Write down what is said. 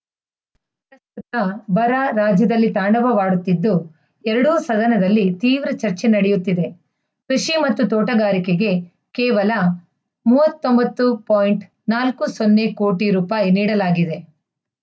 ತ ಬರ ರಾಜ್ಯದಲ್ಲಿ ತಾಂಡವವಾಡುತ್ತಿದ್ದು ಎರಡೂ ಸದನದಲ್ಲಿ ತೀವ್ರ ಚರ್ಚೆ ನಡೆಯುತ್ತಿದೆ ಕೃಷಿ ಮತ್ತು ತೋಟಗಾರಿಕೆಗೆ ಕೇವಲ ಮೂವತ್ತ್ ಒಂಬತ್ತು ಪಾಯಿಂಟ್ ನಾಲ್ಕು ಸೊನ್ನೆ ಕೋಟಿ ರೂಪಾಯಿ ನೀಡಲಾಗಿದೆ